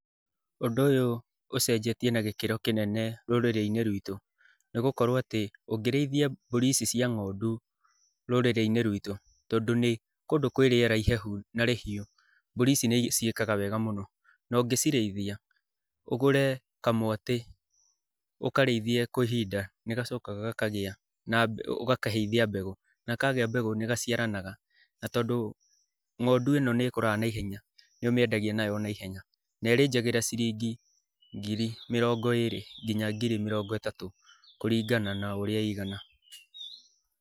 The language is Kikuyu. Ũndũ ũyũ ũcenjetie na gĩkĩro kĩnene rũrĩrĩ-inĩ rwitũ. Nĩ gũkorwo atĩ ũngĩrĩithia mbũri ici cia ngondu rũrĩrĩ-ini rwitũ, tondu nĩ kũndũ kwĩ riera ihehu na rĩhiũ, mbũri ici nĩ ciĩkaga wega muno. Na ũngĩcirĩithia, ũgũre kamwatĩ, ũkarĩithie kwa ihinda, nĩ gacokaga gakagĩa na ũgakaheithia mbegũ. Na kagĩa mbegũ nĩ gaciaranaga , na tondũ ngondu ĩno nĩ ĩkũraga naihenya, nĩ ũmeĩndagia nayo o naihenya. Na ĩrĩnjagĩra ciringi mĩrongo ĩrĩ, nginya ngiri mĩrongo ĩtatũ kũringana na ũrĩa ĩigana.